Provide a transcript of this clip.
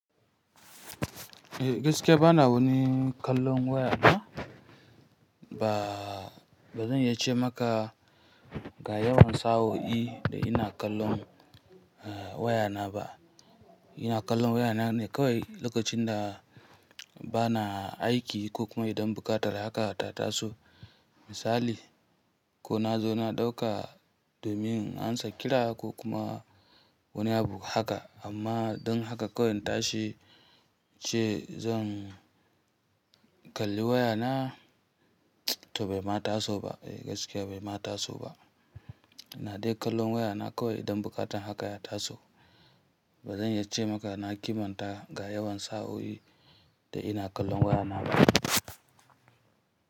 Eh gaskiya bana wani kallon waya ba. Ba, bazan iya ce maka ga yawan sa'o'i da ina kallon, eh wayana ba. Ina kallon wayana ne kawai lokacin da bana aiki ko kuma idan buƙatar haka ta taso. Misali ko nazo na ɗauka domin in ansa kira ko kuma wani abu haka. Amma don haka kawai in tashi ce zan kalli wayana? To bai ma taso ba. Eh gaskiya bai ma taso ba. Ina dai kallon wayana kawai idan buƙatar haka ya taso. Bazan yace maka na kimanta ga yawan sa'o'i da ina kallon wayana ba.